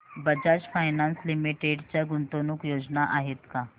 Bajaj finance limited च्या गुंतवणूक योजना आहेत का